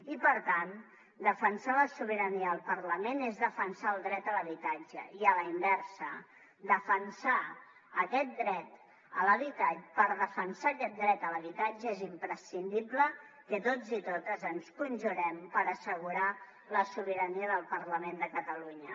i per tant defensar la sobirania del parlament és defensar el dret a l’habitatge i a la inversa per defensar aquest dret a l’habitatge és imprescindible que tots i totes ens conjurem per assegurar la sobirania del parlament de catalunya